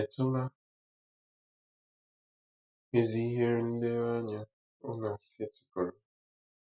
Ì chetụla ezi ihe nlereanya ọ na-esetịpụrụ?